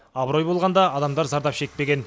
абырой болғанда адамдар зардап шекпеген